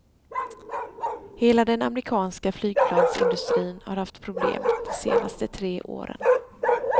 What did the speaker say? Hela den amerikanska flygplansindustrin har haft problem de senaste tre åren.